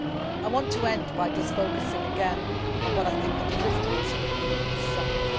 I want to end by focusing again on what I think the deliverables will be at this summit.